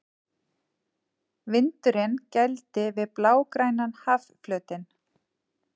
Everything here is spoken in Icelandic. Vindurinn gældi við blágrænan hafflötinn.